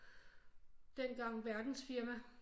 Dengang verdensfirma